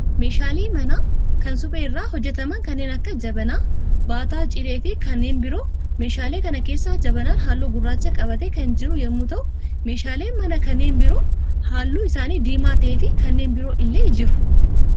Meeshaalee manaa kan suphee irraa hojjetaman kanneen akka jabanaa, baataa cilee, fi kanneen biroo. Meeshaalee kana keessaa jabanaan halluu gurraacha qabatee kan jiru yemmuu ta'u, meeshaaleen manaa kanneen biroon halluu isaanii diimaa ta'ee fi kanneen biroon illee jiru.